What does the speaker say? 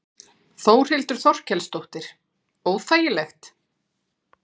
Þórhildur Þorkelsdóttir: Óþægilegt?